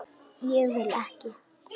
Ég vil ekki.